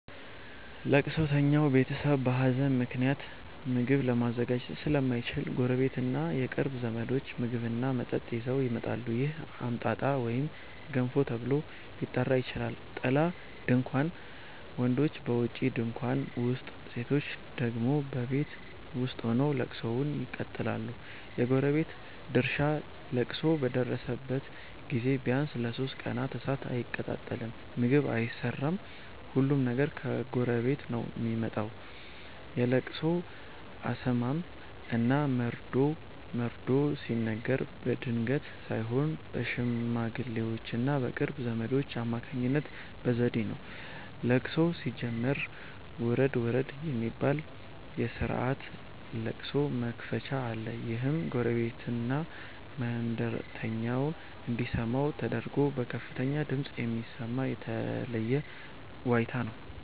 ለቅሶተኛው ቤተሰብ በሀዘን ምክንያት ምግብ ለማዘጋጀት ስለማይችል፣ ጎረቤትና የቅርብ ዘመዶች ምግብና መጠጥ ይዘው ይመጣሉ። ይህ "አምጣጣ" ወይም "ገንፎ" ተብሎ ሊጠራ ይችላል። ጥላ (ድንኳን): ወንዶች በውጪ ድንኳን ውስጥ፣ ሴቶች ደግሞ በቤት ውስጥ ሆነው ለቅሶውን ይቀጥላሉ። የጎረቤት ድርሻ: ለቅሶ በደረሰበት ቤት ቢያንስ ለሦስት ቀናት እሳት አይቀጣጠልም (ምግብ አይሰራም)፤ ሁሉም ነገር ከጎረቤት ነው የሚመጣው። የለቅሶ አሰማም እና መርዶ መርዶ ሲነገር በድንገት ሳይሆን በሽማግሌዎችና በቅርብ ዘመዶች አማካኝነት በዘዴ ነው። ለቅሶው ሲጀመር "ውረድ ውረድ" የሚባል የስርዓተ ለቅሶ መክፈቻ አለ። ይህም ጎረቤትና መንገደኛው እንዲሰማ ተደርጎ በከፍተኛ ድምፅ የሚሰማ የተለየ ዋይታ ነው።